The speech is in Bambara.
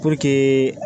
Puruke